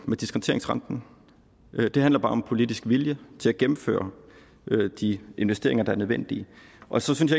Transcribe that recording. med diskonteringsrenten det handler bare om politisk vilje til at gennemføre de investeringer der er nødvendige og så synes